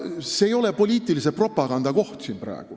See ei ole siin praegu poliitilise propaganda koht.